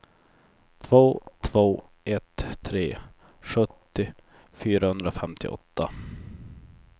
två två ett tre sjuttio fyrahundrafemtioåtta